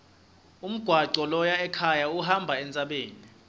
umgwaco loya ekhaya uhamba entsabeni